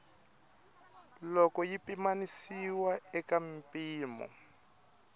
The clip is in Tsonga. loko yi pimanisiwa eka mimpimo